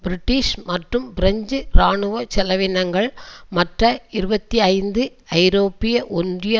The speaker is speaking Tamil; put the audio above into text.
பிரிட்டிஷ் மற்றும் பிரெஞ்சு இராணுவ செலவீனங்கள் மற்ற இருபத்தி ஐந்து ஐரோப்பிய ஒன்றிய